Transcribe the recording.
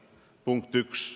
Punkt 1.